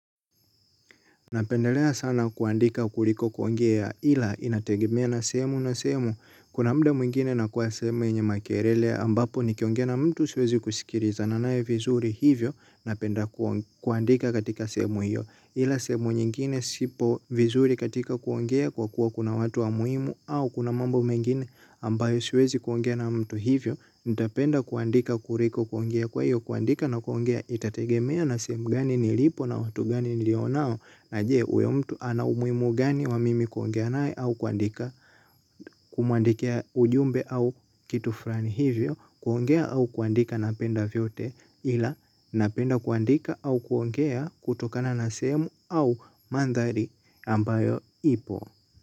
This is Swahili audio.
Napendelea sana kuandika kuliko kuongea ila inategemea na sehemu na sehemu. Kuna muda mwingine nakuwa sehemu yenye makelele ambapo nikiongea na mtu siwezi kusikilizana naye vizuri hivyo napenda kuandika katika sehemu hiyo. Ila sehemu nyingine sipo vizuri katika kuongea kwa kuwa kuna watu wa muhimu au kuna mambo mengine ambayo siwezi kuongea na mtu hivyo nitapenda kuandika kuliko kuongea kwa hiyo kuandika na kuongea itategemea na sehemu gani nilipo na watu gani nilio nao na je uyo mtu ana umuhimu gani wa mimi kuongea naye au kuandika kumuandikia ujumbe au kitu fulani hivyo kuongea au kuandika napenda vyote ila napenda kuandika au kuongea kutokana na sehemu au manthari ambayo ipo.